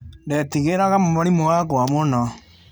Ndetigĩraga mwarimũ wakwa mũno